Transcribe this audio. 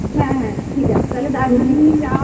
হ্যাঁ হ্যাঁ ঠিক আছে তালে দার্জিলিংই যা~